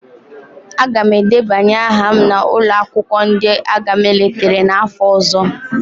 Aga m edebanye aha na ụlọ akwụkwọ ndị agha mịlịtrị n'afọ ọzọ.